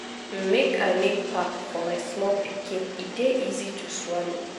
make i make pap for my small pikin e dey easy to swallow.